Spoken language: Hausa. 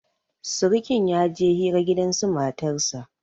sirikin ya je hira gidansu matarsa